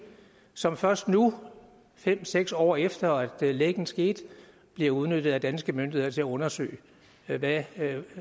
som først nu fem seks år efter at lækken skete bliver udnyttet af danske myndigheder til at undersøge hvad det